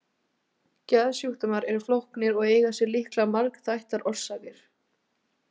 Geðsjúkdómar eru flóknir og eiga sér líklega margþættar orsakir.